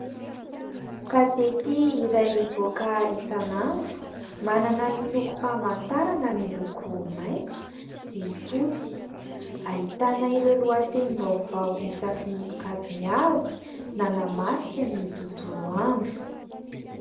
Gazety iray mivoaka isanandro, manana ny lokom-pahamantarana miloko maitso sy fotsy. Ahitana ireo lohatenim-baovao isaky ny sokajiny avy, nanamarika ny tontolo andro.